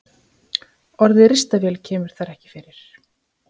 Orðið ristavél kemur þar ekki fyrir.